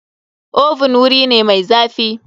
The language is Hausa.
Oven wuri ne mai zafi.